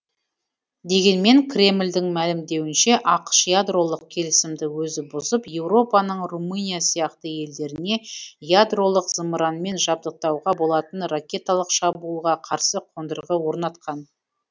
дегенмен кремльдің мәлімдеуінше ақш ядролық келісімді өзі бұзып еуропаның румыния сияқты елдеріне ядролық зымыранмен жабдықтауға болатын ракеталық шабуылға қарсы қондырғы орнатқан